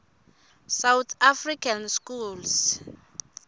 south african schools